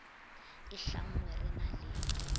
e tlhanngwe re na le